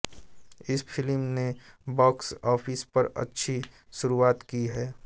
इस फिल्म नें box office पर अच्छी शुरुवात की है